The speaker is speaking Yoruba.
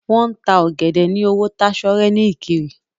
Wọn máa n ta ọ̀gẹ̀dẹ̀ ní owó tásọ́rẹ́ ní ìkirè.